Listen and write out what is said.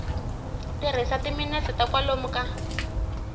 tirhisa timinete ta kwalomu ka